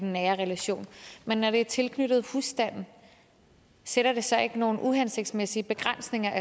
nære relationer men når det er tilknyttet husstanden sætter det så ikke nogle uhensigtsmæssige begrænsninger